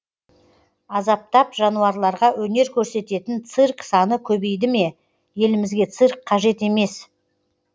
азаптап жануарларға өнер көрсететін цирк саны көбейді ме елімізге цирк қажет емес